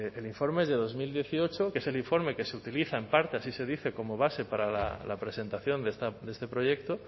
el informe es de dos mil dieciocho que es el informe que se utiliza en parte así se dice como base para la presentación de este proyecto